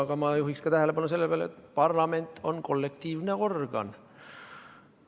Aga ma juhiksin tähelepanu ka sellele, et parlament on kollektiivne organ.